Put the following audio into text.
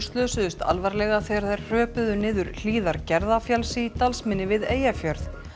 slösuðust alvarlega þegar þær hröpuðu niður hlíðar Gerðafjalls í Dalsmynni við Eyjafjörð